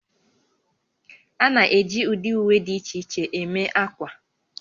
A na-eji ụdị uwe dị iche iche eme ákwà